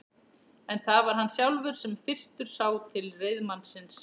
En það var hann sjálfur sem fyrstur sá til reiðmannsins.